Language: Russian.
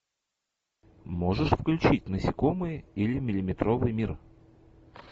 можешь включить насекомые или миллиметровый мир